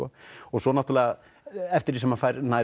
svo náttúrulega eftir því sem hann færist nær